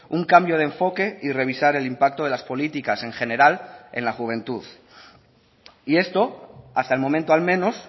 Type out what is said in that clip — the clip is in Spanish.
un cambio de enfoque y revisar el impacto de las políticas en general en la juventud y esto hasta el momento al menos